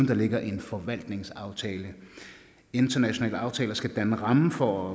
der ligger en forvaltningsaftale internationale aftaler skal danne ramme for